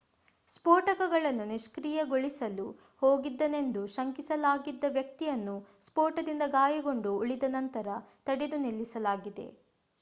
ಸ್ಫೋಟಕವನ್ನು ನಿಷ್ಕ್ರಿಯಗೊಳಿಸಲು ಹೋಗಿದ್ದನೆಂದು ಶಂಕಿಸಲಾಗಿದ್ದ ವ್ಯಕ್ತಿಯನ್ನು ಸ್ಫೋಟದಿಂದ ಗಾಯಗೊಂಡು ಉಳಿದನಂತರ ತಡೆದು ನಿಲ್ಲಿಸಲಾಗಿದೆ